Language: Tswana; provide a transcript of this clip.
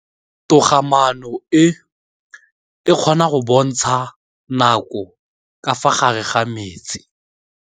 Toga-maanô e, e kgona go bontsha nakô ka fa gare ga metsi.